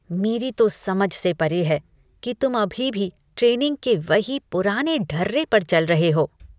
मेरी तो समझ से परे है कि तुम अभी भी ट्रेनिंग के वही पुराने ढर्ररे पर चल रहे हो!